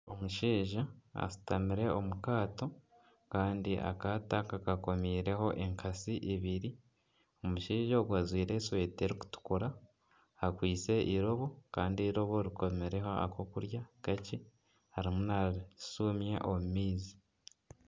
Omushaija ashutamire omukaato, kandi akaato aka kakomiireho enkatsi ibiri, omushaija ogu ajwaire esweta erikutukura akwaitse eirobo, kandi eirobo rikomireho akokurya kakye, arimu narisumya omu maizi.